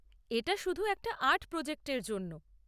এটা শুধু একটা আর্ট প্রোজেক্টের জন্য।